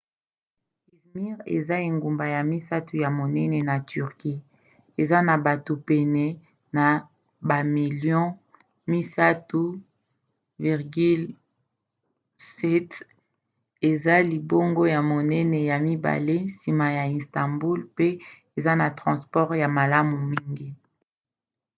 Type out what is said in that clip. izmir eza engumba ya misato ya monene na turquie eza na bato pene ya bamilio 3,7 eza libongo ya monene ya mibale nsima ya istanbul mpe eza na transport ya malamu mingi